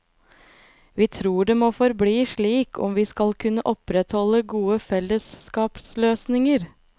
Vi tror det må forbli slik om vi skal kunne opprettholde gode fellesskapsløsninger.